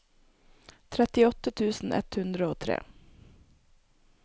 trettiåtte tusen ett hundre og tre